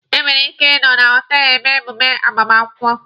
E nwere ike ị nọ na họtelụ eme mmemme agbamakwụkwọ.